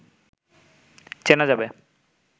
চেনা যাবে